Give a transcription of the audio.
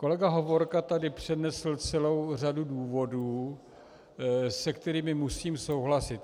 Kolega Hovorka tady přednesl celou řadu důvodů, s kterými musím souhlasit.